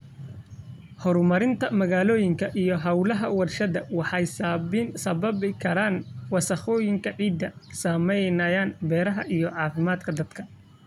Horumarinta magaalooyinka iyo hawlaha warshadaha waxay sababi karaan wasakhowga ciidda, saameynaya beeraha iyo caafimaadka dadka.